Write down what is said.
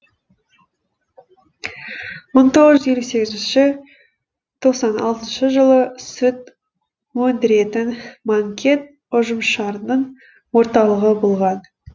мың тоғыз жүз елу сегізінші тоқсан алтыншы жылы сүт өндіретін манкент ұжымшарының орталығы болған